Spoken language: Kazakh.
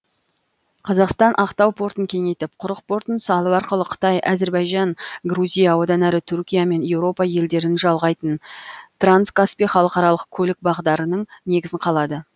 қазақстан ақтау портын кеңейтіп құрық портын салу арқылы қытай әзербайжан грузия одан әрі түркия мен еуропа елдерін жалғайтын транскаспий халықаралық көлік бағдарының негізін қалады